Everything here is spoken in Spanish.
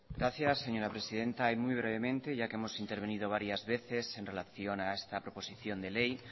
gracias señora presidenta muy brevemente ya que hemos intervenido varias veces en relación a esta proposición de ley